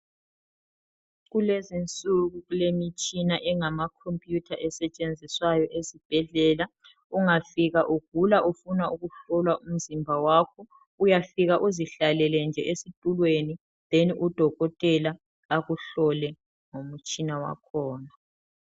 Kulezinsuku kulemitshina engama computer esetshenziswayo esibhedlela ungafika ugula ufuna ukuhlohlwa umzimba wakho uyafika uzihlalele nje esitulweni then udokotela akuhlole ngomtshina wakhona.